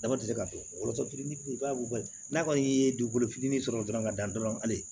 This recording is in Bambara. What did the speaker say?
Dama tɛ se ka to fitinin bali n'a kɔni ye dugukolo fitinin sɔrɔ dɔrɔn ka dan dɔrɔn ali